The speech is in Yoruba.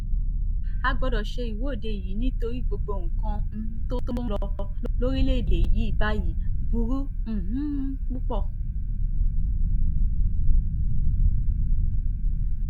a gbọ́dọ̀ ṣe ìwọ́de yìí nítorí gbogbo nǹkan um tó ń lọ lórílẹ̀‐èdè yìí báyìí burú um púpọ̀